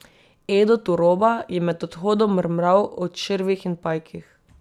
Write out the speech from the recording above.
Edo Turoba je med odhodom mrmral o črvih in pajkih.